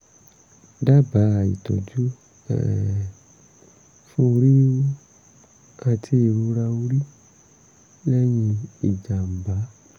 dábàá ìtọ́jú um fún orí wíwú àti ìrora orí lẹ́yìn ìjàm̀bá